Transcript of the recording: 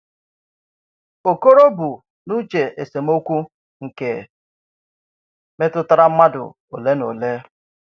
Okoro bụ n’uche esemokwu nkè metụtara mmádụ ole na ole.